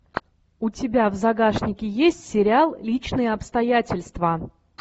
у тебя в загашнике есть сериал личные обстоятельства